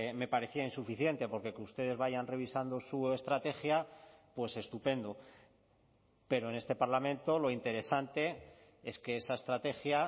me parecía insuficiente porque que ustedes vayan revisando su estrategia pues estupendo pero en este parlamento lo interesante es que esa estrategia